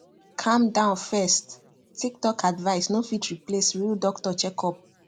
calm down first tiktok advice no fit replace real doctor checkup